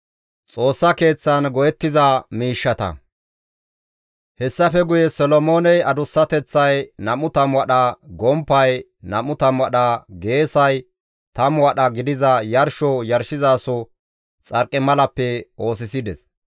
Hessafe guye Solomooney adussateththay 20 wadha, gomppay 20 wadha, geesay 10 wadha gidiza yarsho yarshizaso xarqimalappe oosisides.